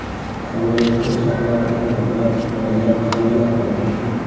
Samolyotda chaqaloqli ayollar, bolalar, qariyalar qolmoqda.